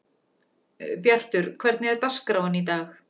Bjartur, hvernig er dagskráin í dag?